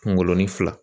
Kungolo ni fila